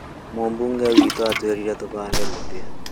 Mũmbunge witũ atũirire tũhande mĩtĩ